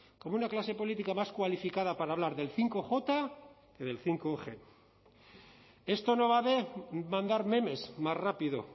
como una clase política más cualificada para hablar del bostj que del bostg esto no va a mandar memes más rápido